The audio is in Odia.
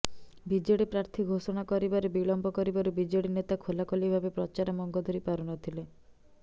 ବିଜେଡି ପ୍ରାର୍ଥୀ ଘୋଷଣା କରିବାରେ ବିଳମ୍ବ କରିବାରୁ ବିଜେଡି ନେତା ଖୋଲାଖୋଲି ଭାବେ ପ୍ରଚାର ମଙ୍ଗ ଧରି ପାରୁନଥିଲେ